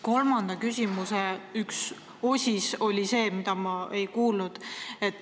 Kolmanda küsimuse üks osis oli see, millele ma vastust ei kuulnud.